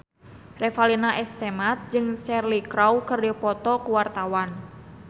Revalina S. Temat jeung Cheryl Crow keur dipoto ku wartawan